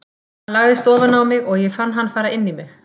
Hann lagðist ofan á mig og ég fann hann fara inn í mig.